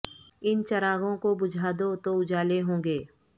ان چراغوں کو بجھا دو تو اجالے ہوں گے